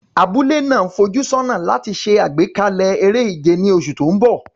Abúlé náà ń fojú sọ́nà láti ṣe àgbékalẹ̀ eré ìje ní oṣù tó ń bọ̀.